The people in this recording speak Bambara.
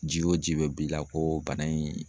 Ji wo ji be b'i la ko bana in